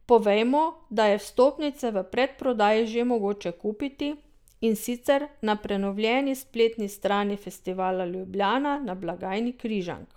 Povejmo, da je vstopnice v predprodaji že mogoče kupiti, in sicer na prenovljeni spletni strani Festivala Ljubljana in na blagajni Križank.